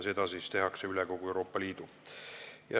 Seda tehakse üle kogu Euroopa Liidu.